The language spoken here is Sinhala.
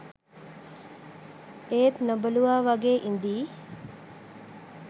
ඒත් නොබැලුවා වගේ ඉඳියි.